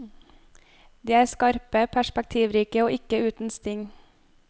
De er skarpe, perspektivrike og ikke uten sting.